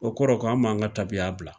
O kɔrɔ k'an m'an ka taabiya bila.